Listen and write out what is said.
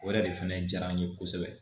O yɛrɛ de fɛnɛ diyara n ye kosɛbɛ